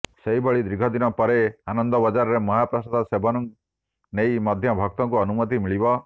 ସେହିଭଳି ଦୀର୍ଘ ଦିନ ପରେ ଆନନ୍ଦବଜାରରେ ମହାପ୍ରସାଦ ସେବନ ନେଇ ମଧ୍ୟ ଭକ୍ତଙ୍କୁ ଅନୁମତି ମିଳିବ